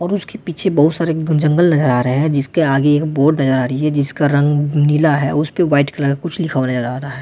और उसके पीछे बहुत सारे जंगल नजर आ रहे हैं जिसके आगे एक बोर्ड नजर आ रही है जिसका रंग नीला है उस पे वाइट कलर कुछ लिखा हुआ नजर आ रहा है।